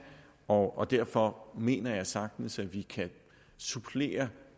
og derfor mener jeg sagtens at vi kan supplere